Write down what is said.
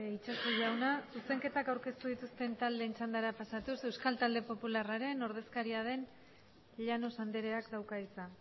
itxaso jauna zuzenketak aurkeztu dituzten txandara pasatuz euskal talde popularraren ordezkaria den llanos andreak dauka hitza